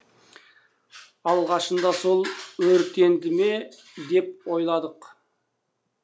алғашында сол өртенді ме деп ойладық